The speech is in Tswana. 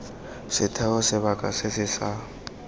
setheo sebaka se se sa